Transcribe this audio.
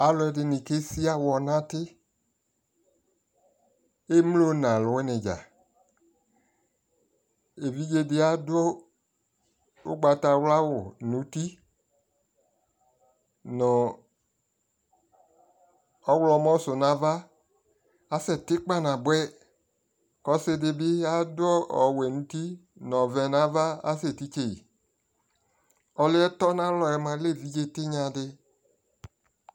alʋɛdini kɛ sia awɔ nʋ ati, ɛmlɔ nʋ alʋ wini dza, ɛvidzɛ di adʋ ɔgbatawla awʋ nʋ ʋti nʋ ɔwlɔmʋ sʋ nʋ aɣa, asɛ ti kpana bʋɛ kʋ ɔsii dibi ɔwɛ nʋ ʋti nʋ ɔvɛ nʋ aɣa kʋ asɛ titsɛi, ɔlʋɛ tɔnʋ alɔɛ lɛ ɛvidzɛ tinya di